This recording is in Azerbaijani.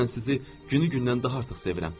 Mən sizi günü-gündən daha artıq sevirəm.